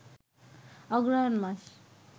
অগ্রহায়ণ মাস